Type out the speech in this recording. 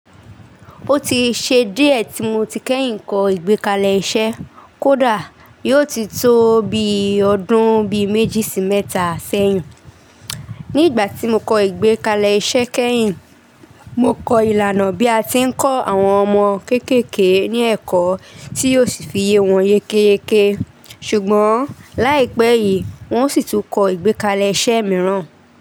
Ó ti ṣe díẹ̀ tí mo ti kẹ́yìn kọ ìgbékalẹ̀ iṣẹ́. Kódà yó ti tó bi ọdún bí méjì sí mẹ́ta sẹ́yìn. Ní ìgbà tí mo kọ ìgbékalẹ̀ iṣẹ́ kẹ́yìn, mo kọ ìlànà bí a ti ń kọ́ àwọn ọmọ kéékèèké ní ẹ̀kọ́ tí yóò sì fi ye wọn yékéyéké. Ṣùgbọ́n láìpẹ́ yìí, wón sì tún kọ ìgbékalẹ̀ iṣẹ́ mìíràn.